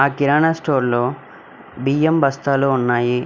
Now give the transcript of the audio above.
కిరాణా store లో బియ్యం బస్తాలు ఉన్నాయి.